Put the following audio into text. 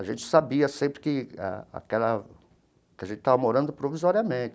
A gente sabia sempre que a aquela que a gente estava morando provisoriamente.